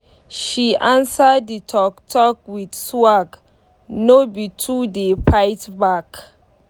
she answer d talk talk with swag nor be to dey fight back